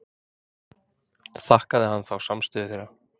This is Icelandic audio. Þakkaði hann þá samstöðu þeirra.